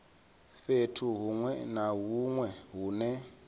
fhethu huṅwe na huṅwe hune